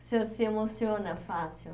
O senhor se emociona fácil.